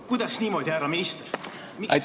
Kuidas niimoodi, härra minister?